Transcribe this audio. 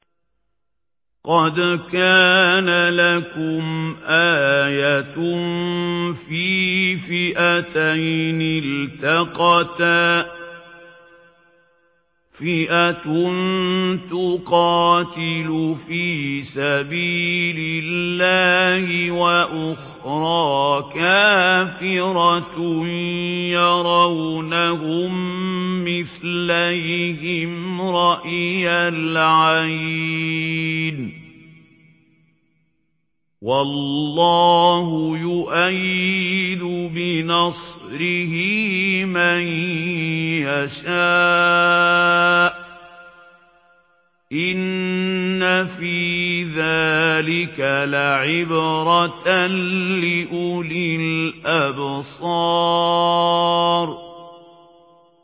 قَدْ كَانَ لَكُمْ آيَةٌ فِي فِئَتَيْنِ الْتَقَتَا ۖ فِئَةٌ تُقَاتِلُ فِي سَبِيلِ اللَّهِ وَأُخْرَىٰ كَافِرَةٌ يَرَوْنَهُم مِّثْلَيْهِمْ رَأْيَ الْعَيْنِ ۚ وَاللَّهُ يُؤَيِّدُ بِنَصْرِهِ مَن يَشَاءُ ۗ إِنَّ فِي ذَٰلِكَ لَعِبْرَةً لِّأُولِي الْأَبْصَارِ